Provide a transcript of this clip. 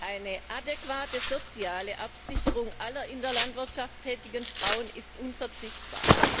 Eine adäquate soziale Absicherung aller in der Landwirtschaft tätigen Frauen ist unverzichtbar.